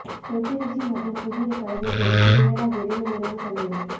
தொத்திறைச்சி மற்றும் புதிய கலவை கொண்டு சுவையான விரைவு உணவு சமையல்